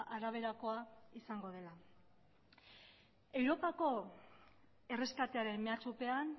araberakoa izango dela europako erreskatearen mehatxupean